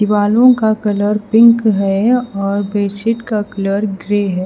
दीवारों का colour pink है और बेडशीट का कलर ग्रे है।